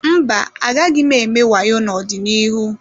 Mba, agaghị m eme wayo n'ọdịnihu.